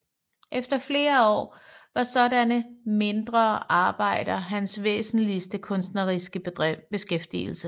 Igennem flere år var sådanne mindre arbejder hans væsentlige kunstneriske beskæftigelse